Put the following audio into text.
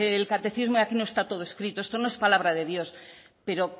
el catecismo y aquí no está todo escrito esto no es palabra de dios pero